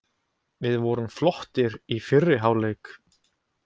Við vorum flottir í fyrri hálfleik.